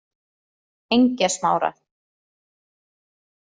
Engjasmára